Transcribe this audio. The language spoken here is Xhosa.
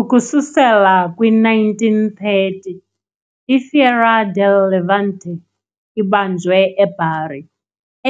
Ukususela kwi -1930, i- "Fiera del Levante" ibanjwe e-Bari,